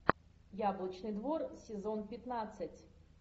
яблочный двор сезон пятнадцать